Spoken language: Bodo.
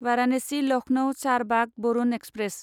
वारानासि लखनौ चारबाग वरुन एक्सप्रेस